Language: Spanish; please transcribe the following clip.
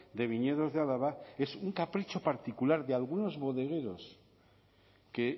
de viñedos de álava es un capricho particular de algunos bodegueros que